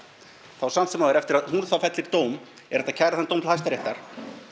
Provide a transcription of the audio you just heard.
þá samt sem áður eftir að hún fellir dóm er hægt að kæra þann dóm til Hæstaréttar